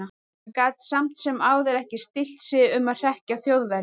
Hann gat samt sem áður ekki stillt sig um að hrekkja Þjóðverjann.